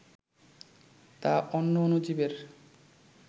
তা অন্য অণুজীবের